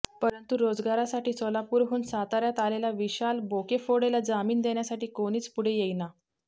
परंतु रोजगारासाठी सोलापुरहून साताऱयात आलेला विशाल बोकेफोडेला जामीन देण्यासाठी कोणीच पुढे येईना